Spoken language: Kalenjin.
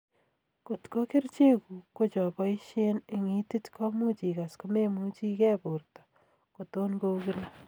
Kotko kerchek kuk kocho boishen eng itit komuch ikas komemuchi ke borto koton kou kila